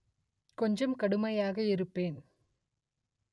கொஞ்சம் கடுமையாக இருப்பேன்